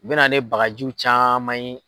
U bɛ na ne bagajiw caman ye.